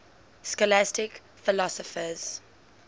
scholastic philosophers